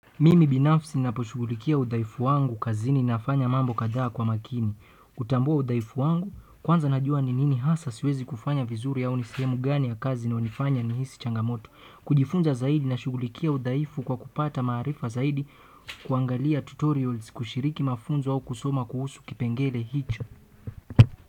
Mimi binafsi naposhughulikia udhaifu wangu kazini nafanya mambo kadhaa kwa makini. Hutambua udhaifu wangu, kwanza najua ninini hasa siwezi kufanya vizuri au nisehemu gani ya kazi inayonifanya nihisi changamoto. Kujifunza zaidi na shughulikia udhaifu kwa kupata maarifa zaidi kuangalia tutorials kushiriki mafunzo au kusoma kuhusu kipengele hicho.